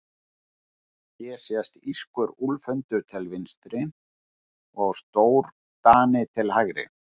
Hér sést írskur úlfhundur til vinstri og stórdani til hægri.